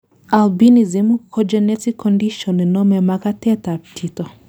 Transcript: albinism ko genetic condition nenomei makatet ab chito